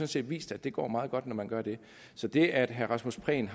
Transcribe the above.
set vist at det går meget godt når man gør det så det at herre rasmus prehn